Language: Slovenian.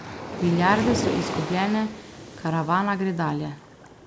Milijarde so izgubljene, karavana gre dalje.